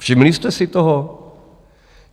Všimli jste si toho?